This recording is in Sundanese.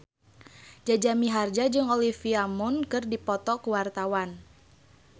Jaja Mihardja jeung Olivia Munn keur dipoto ku wartawan